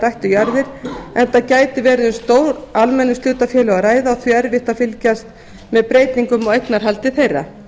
ættu jarðir enda gæti verið um stór almenningshlutafélög að ræða og því erfitt að fylgjast með breytingum á eignarhaldi þeirra